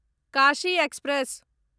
Kashi express